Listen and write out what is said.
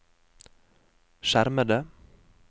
skjermede